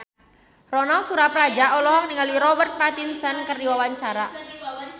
Ronal Surapradja olohok ningali Robert Pattinson keur diwawancara